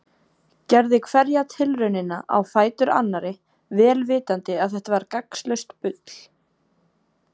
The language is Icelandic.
Gerði hverja tilraunina á fætur annarri vel vitandi að þetta var gagnslaust bull.